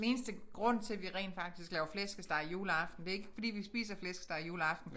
Den eneste grund til vi rent faktisk laver flæskesteg juleaften det ikke fordi vi spiser flæskesteg juleaften